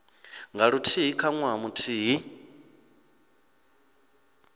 nga luthihi kha ṅwaha muthihi